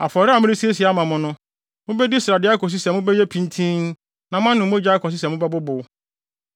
Afɔre a meresiesie ama mo no, mubedi srade akosi sɛ mobɛyɛ pintinn na moanom mogya akosi sɛ mobɛbobow.